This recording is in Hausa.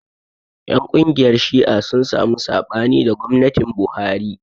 Ƴan ƙungiyar Shi'a sun samu saɓani da gwamnatin Buhari.